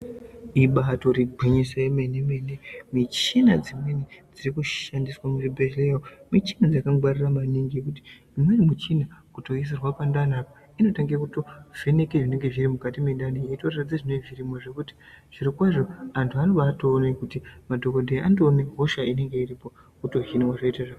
Ibato regwinyiso remene mene, michina dzimweni dzirikushandiswa muzvibhedhlera michina yakangwarira maningi. Ngekuti imweni muchina kutoiisirwa pandaniapa inototanga kuvheneka zvinenge zvirimukati mwendani yedu zveitoradzidza zvinenge zvirimo, zvekuti zviro kwazvo antu anobe atoona kuti madhokodheya anotoona hosha inenge iripo wotohinwa zvoita zvakanaka